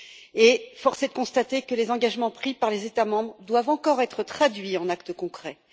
Et, force est de constater que les engagements pris par les États membres doivent encore être traduits en actes concrets.